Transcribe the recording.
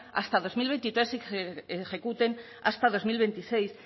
hasta dos mil veintitrés y que se ejecuten hasta dos mil veintiséis